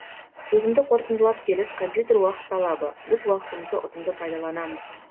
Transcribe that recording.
сөзімді қорытындылап келіп компьютер уақыт талабы біз уақытымызды ұтымды пайдаланамыз